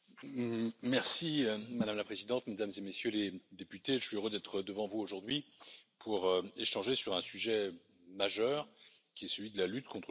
Madame la Présidente, Mesdames et Messieurs les députés, je suis heureux d'être devant vous aujourd'hui pour échanger sur un sujet majeur, qui est celui de la lutte contre le financement du terrorisme.